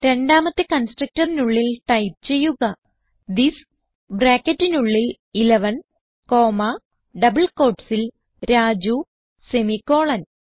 രണ്ടാമത്തെ constructorനുള്ളിൽ ടൈപ്പ് ചെയ്യുക തിസ് ബ്രാക്കറ്റിനുള്ളിൽ 11 കോമ്മ ഡബിൾ quotesൽ രാജു സെമിക്കോളൻ